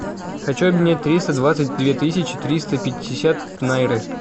хочу обменять триста двадцать две тысячи триста пятьдесят найры